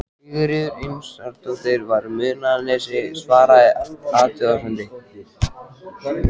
Sigríður Einarsdóttir frá Munaðarnesi svaraði athugasemdum